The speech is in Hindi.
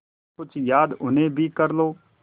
कुछ याद उन्हें भी कर लो